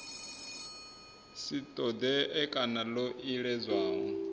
si ṱoḓee kana ḽo iledzwaho